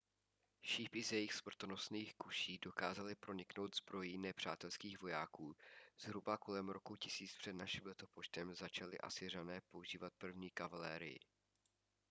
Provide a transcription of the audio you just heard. šípy z jejich smrtonosných kuší dokázaly proniknout zbrojí nepřátelských vojáků zhruba kolem roku 1000 př n l začali asyřané používat první kavalérii